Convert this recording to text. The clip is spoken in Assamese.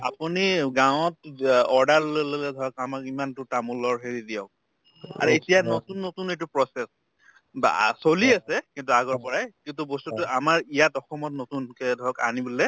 আপুনি গাঁৱত য্য order লৈ ললে ধৰক আমাক ইমানতো তামোলৰ হেৰি দিয়ক আৰু এতিয়া নতুন নতুন এইটো process বা আ চলি আছে কিন্তু আগৰ পৰাই কিন্তু বস্তুতো আমাৰ ইয়াত অসমত নতুনকে ধৰক আনিবলে